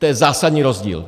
To je zásadní rozdíl!